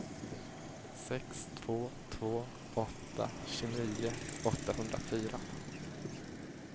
sex två två åtta tjugonio åttahundrafyra